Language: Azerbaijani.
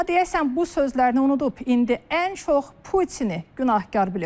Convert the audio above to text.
Amma deyəsən bu sözlərini unudub, indi ən çox Putini günahkar bilir.